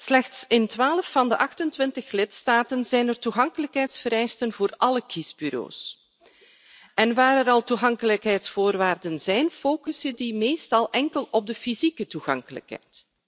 Slechts in 12 van de 28 lidstaten zijn er toegankelijkheidsvereisten voor alle kiesbureaus en waar er al toegankelijkheidsvoorwaarden zijn, focussen die meestal enkel op de fysieke toegankelijkheid.